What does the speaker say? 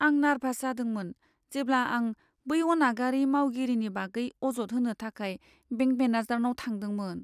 आं नार्भास जादोंमोन जेब्ला आं बै अनागारि मावगिरिनि बागै अजद होनो थाखाय बेंक मेनेजारनाव थांदोंमोन।